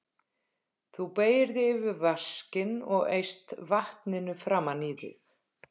Þú beygir þig yfir vaskinn og eyst vatninu framan í þig.